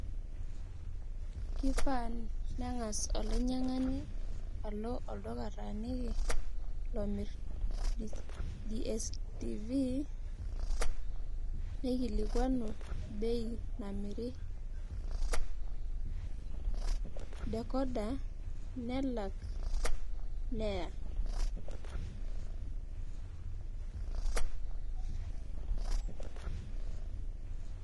Kifaa neng'as olainying'ani alo olduka otaaniki lomirr DSTV nikilikuanu bei namiri decoder nelak neya.